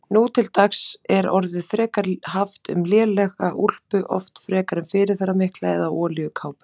Nú til dags er orðið frekar haft um lélega úlpu, oft frekar fyrirferðarmikla, eða olíukápu.